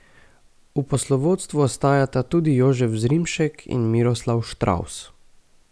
V poslovodstvu ostajata tudi Jožef Zrimšek in Miroslav Štravs.